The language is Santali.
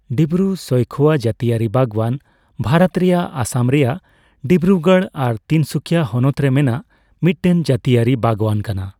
ᱰᱤᱵᱨᱩᱼᱥᱚᱹᱭᱠᱷᱳᱣᱟ ᱡᱟᱹᱛᱤᱭᱟᱹᱨᱤ ᱵᱟᱜᱽᱣᱟᱱ ᱵᱷᱟᱨᱚᱛ ᱨᱮᱭᱟᱜ ᱚᱥᱚᱢ ᱨᱮᱭᱟᱜ ᱰᱤᱵᱨᱩᱜᱚᱲ ᱟᱨ ᱛᱤᱱᱥᱩᱠᱤᱭᱟ ᱦᱚᱱᱚᱛ ᱨᱮ ᱢᱮᱱᱟᱜ ᱢᱤᱫᱴᱮᱱ ᱡᱟᱹᱛᱤᱭᱟᱹᱨᱤ ᱵᱟᱜᱽᱣᱟᱱ ᱠᱟᱱᱟ ᱾